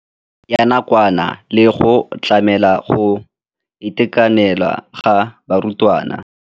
Ya nakwana le go tlamela go itekanela ga barutwana.